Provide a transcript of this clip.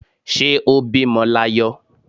Ṣé ó bímọ l'ayọ